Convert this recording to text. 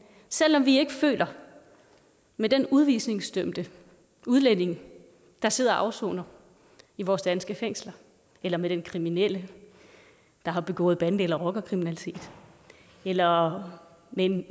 selv om vi ikke føler med den udvisningsdømte udlænding der sidder og afsoner i vores danske fængsel eller med den kriminelle der har begået bande eller rockerkriminalitet eller med en